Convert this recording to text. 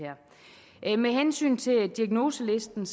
her med hensyn til diagnoselisten